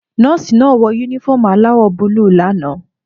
Nọ́ọ́sì náà wọ únífọ̀omù aláwò búlù l'ana